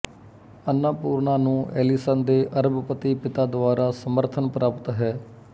ਅੰਨਾਪੂਰਨਾ ਨੂੰ ਐਲੀਸਨ ਦੇ ਅਰਬਪਤੀ ਪਿਤਾ ਦੁਆਰਾ ਸਮਰਥਨ ਪ੍ਰਾਪਤ ਹੈ